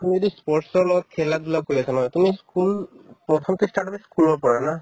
তুমি যদি ই sports ৰ লগত খেলা-ধূলাও কৰি আছা নহয় তুমি school প্ৰথম কি start হ'লে school ৰ পৰা না